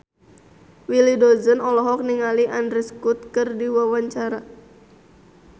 Willy Dozan olohok ningali Andrew Scott keur diwawancara